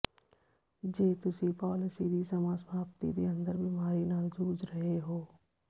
ਜੇ ਤੁਸੀਂ ਪਾਲਿਸੀ ਦੀ ਸਮਾਂ ਸਮਾਪਤੀ ਦੇ ਅੰਦਰ ਬਿਮਾਰੀ ਨਾਲ ਜੂਝ ਰਹੇ ਹੋ